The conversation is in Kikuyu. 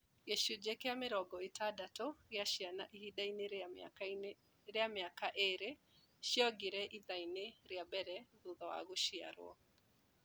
Gĩcunjĩ kĩa mĩrongo ĩtandatũ gĩa ciana ihinda inĩ rĩa mĩaka ĩĩrĩ ciongire ithaa-inĩ rĩa mbere thutha wa gũciarwo